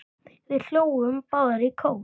Við hlógum báðar í kór.